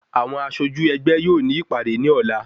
Àwọn aṣojú ẹgbẹ́ yóò ní ìpàdé ní ọ̀lá